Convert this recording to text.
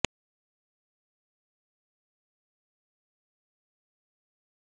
सितम्बर में पुर्तगाली सेना सहायता के लिए पहुँच गयी